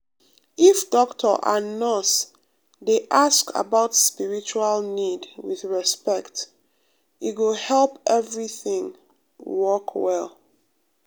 if doctor and nurse dey um ask about spiritual need with respect e go um help everything um work well.